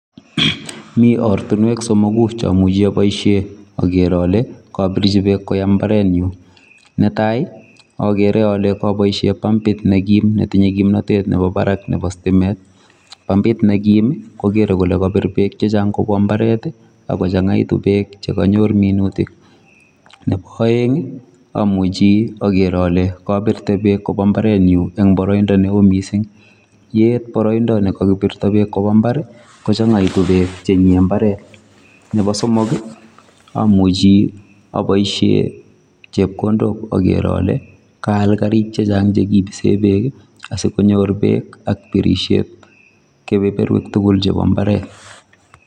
Mi ortunwek somogu che amuchi oboisie ager ale kabirchi beek koyam mbaret nyuu. Ne tai, agere ale kaboisie pampit ne kiim, netinye kimnatet nebo barak nebo stimet. Pampit ne kiim, kogere kole kapir beek chechang' kobwa mbaret, akochang'aitu beek che kanyor minutik. Nebo aeng', amuchi ager ale kabirte beek koba mbaret nyu eng' boroindo neoo missing. Yeet boroindo ne kakibirto beek koba mbar, kochang'aitu beek chenye mbaret. Nebo somok, amuchi aboisie chepkondok ager ale kaal karik chechang' chekibise beek, asikonyor beek ak birisiet kebeberutik tugul chebo mbaret